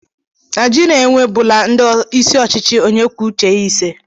Naijiria enwe bụla ndị isi ochichi onye kwuo uche ya ise